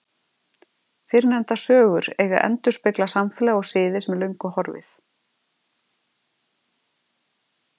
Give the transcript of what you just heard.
Fyrrnefndar sögur eiga að endurspegla samfélag og siði sem er löngu horfið.